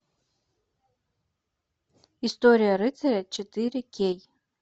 история рыцаря четыре кей